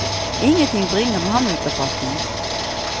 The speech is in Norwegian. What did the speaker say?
Ingenting bringer ham ut av fatning.